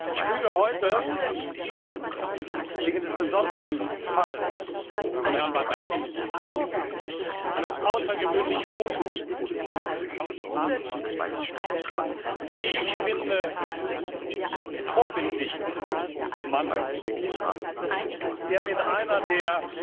Ich füge heute, wegen des besonderen Falles von Herrn Badawi, einem außergewöhnlich mutigen und, wie ich finde, vorbildlichen Mann, der mit einer der